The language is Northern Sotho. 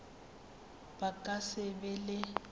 ba ka se be le